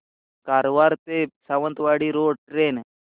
कारवार ते Sawantwadi road train